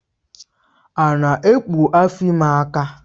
Ana ekpu afọ ime aka?